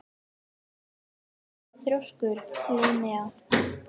Af hverju ertu svona þrjóskur, Linnea?